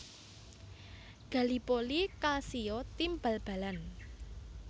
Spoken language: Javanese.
Gallipoli Calcio tim bal balan